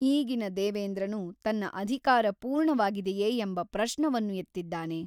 ಈಗಿನ ದೆವೇಂದ್ರನು ತನ್ನ ಅಧೀಕಾರ ಪೂರ್ಣವಾಗಿದೆಯೇ ಎಂಬ ಪ್ರಶ್ನವನ್ನು ಎತ್ತಿದ್ದಾನೆ.